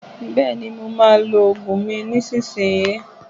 Bẹẹni, ma a lo ògùn mi nísinsìnyí